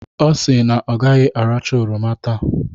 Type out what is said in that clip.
Ọ si na ọ gaghị aracha oroma taa.